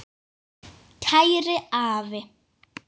Kæri afi.